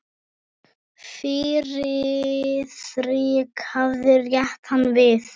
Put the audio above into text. Friðrik hafði rétt hann við.